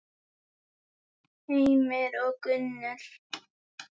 Heimir og Gunnur.